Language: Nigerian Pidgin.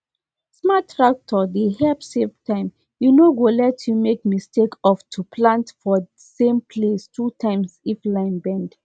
smart tractor dey help save time e no go let you make mistake of to plant for same place two times if line bend